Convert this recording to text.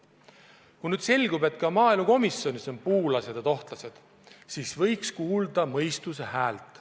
Kui selgub, et ka maaelukomisjonis on puulased ja tohtlased, siis võiks kuulata mõistuse häält.